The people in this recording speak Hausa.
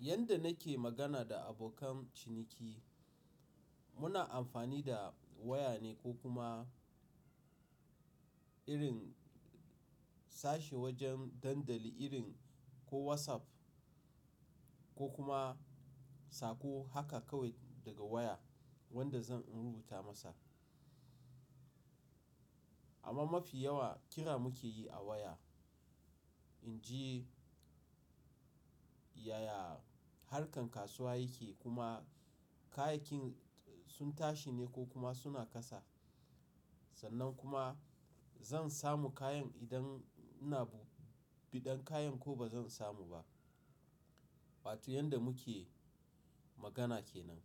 Yanda nake magana da abokan ciniki, muna amfani da waya ne ko kuma irin sashe wajen dandali irin ko WhatsApp ko kuma sako haka kawai daga waya wanda zan rubuta masa. Amma mafi yawa kira muke yi a waya. In ji yaya harkan kasuwa yake, kuma kayayyakin sun tashi ne ko kuma suna kasa. Sannan kuma zan samu kayan idan ina biɗan kayan ko ba zan samu ba. Wato yanda muke magana ke nan.